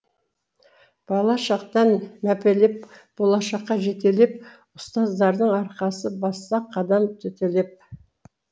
бала шақтан мәпелеп болашаққа жетелеп ұстаздардың арқасы бассақ қадам төтелеп